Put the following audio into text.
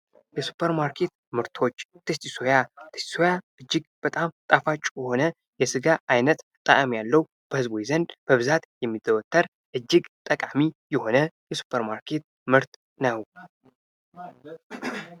የሱፐር ማርኬት ምርቶች ቴስቲ ሶያ ።ቴስቲ ሶያ እጅግ በጣም ጣፋጭ የሆነ የስጋ ዓይነት ያለው በህዝቡ ዘንድ በብዛት የሚዘወተር እጅግ ጠቃሚ የሆነ የሱፐር ማርኬት ምርት ነው።